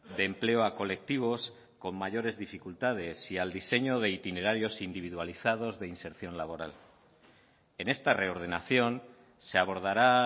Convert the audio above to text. de empleo a colectivos con mayores dificultades y al diseño de itinerarios individualizados de inserción laboral en esta reordenación se abordará